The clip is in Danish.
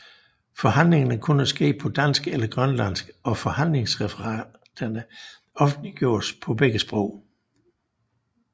Forhandlingerne kunne ske på dansk eller grønlandsk og forhandlingsreferaterne offentliggjordes på begge sprog